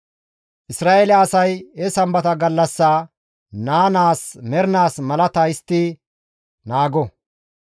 Isra7eele asay he Sambata gallassaa naa naas mernaas malata histtidi naago.